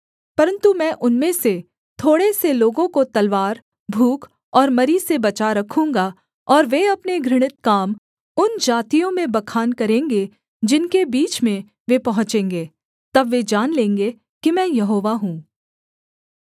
परन्तु मैं उनमें से थोड़े से लोगों को तलवार भूख और मरी से बचा रखूँगा और वे अपने घृणित काम उन जातियों में बखान करेंगे जिनके बीच में वे पहुँचेंगे तब वे जान लेंगे कि मैं यहोवा हूँ